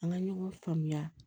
An ka ɲɔgɔn faamuya